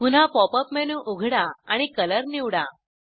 पुन्हा pop up menu उघडा आणि कलर निवडा